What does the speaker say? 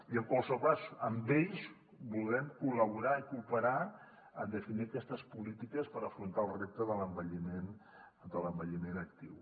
i en qualsevol cas amb ells voldrem col·laborar i cooperar en definir aquestes polítiques per afrontar el repte de l’envelliment actiu